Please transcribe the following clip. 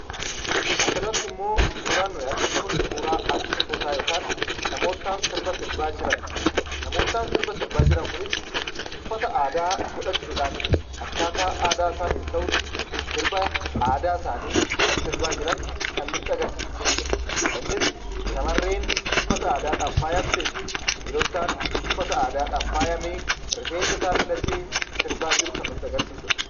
Asirratti immoo suuraan nuti arginu kun, suuraa artistootaa yookiin namoota sirba sirbaa jiran. Namoottan sirba sirbaa jiran kunis uffata aadaa godhachuudhaan akkaataa aadaa isaaniif ta'utti sirba aadaa isaanii kan sirbaa jiran kan nutti agarsiisu jechuu dha. Innis shamarreen uffata aadaadhaan faayamtee fi dhiirottan uffata aadaadhaan faayame rifeensa isaa filatee sirbaa jiru kan nutti agarsiisuu dha